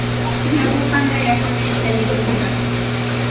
Shunda bu qanday yoqimli ekanligini ko‘rasiz!